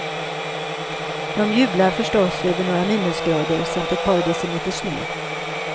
De jublar förstås över några minusgrader samt ett par decimeter snö.